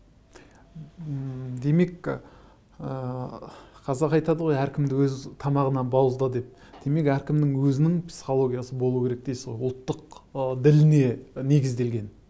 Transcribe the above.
ммм демек ыыы қазақ айтады ғой әркімді өз тамағынан бауызда деп демек әркімнің өзінің психологиясы болуы керек дейсіз ғой ұлттық ы діліне негізделген